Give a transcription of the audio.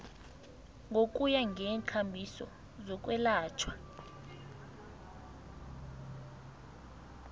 ngokuya ngeenkambiso zokwelatjhwa